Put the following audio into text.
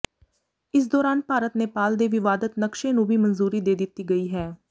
ਇਸ ਦੌਰਾਨ ਭਾਰਤ ਨੇਪਾਲ ਦੇ ਵਿਵਾਦਤ ਨਕਸ਼ੇ ਨੂੰ ਵੀ ਮਨਜ਼ੂਰੀ ਦੇ ਦਿੱਤੀ ਗਈ ਹੈ